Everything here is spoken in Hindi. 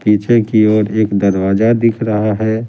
पीछे की ओर एक दरवाजा दिख रहा है ।